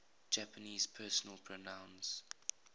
japanese personal pronouns